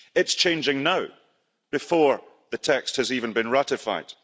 It's changing now before the text has even been ratified.